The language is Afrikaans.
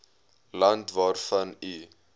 land waarvan u